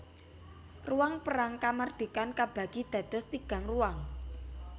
Ruang Perang Kamardikan kabagi dados tigang ruang